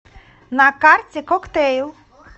на карте коктэйл